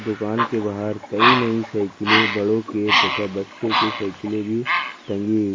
दुकान के बाहर कइ नई साइकिलें बड़ों के तथा बच्चों के साइकिल भी टंगी हुई --